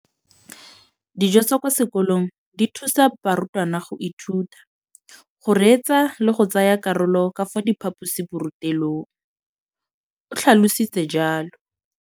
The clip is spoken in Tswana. Dijo tsa kwa sekolong dithusa barutwana go ithuta, go reetsa le go tsaya karolo ka fa phaposiborutelong, o tlhalositse jalo.